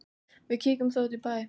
Víkjum þá út í bæ.